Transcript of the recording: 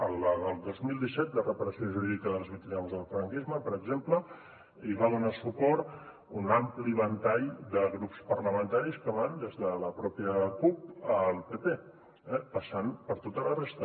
a la del dos mil disset de reparació jurídica de les víctimes del franquisme per exemple hi va donar suport un ampli ventall de grups parlamentaris que van des de la pròpia cup al pp eh passant per tota la resta